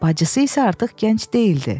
Bacısı isə artıq gənc deyildi.